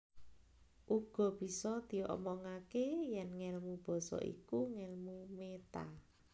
Uga bisa diomongaké yèn ngèlmu basa iku ngèlmu méta